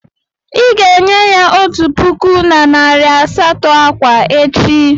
Ị ga-enye ya otu puku na narị asatọ akwa echi.